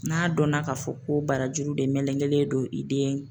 N'a dɔnna k'a fɔ ko barajuru de melegenlen don i den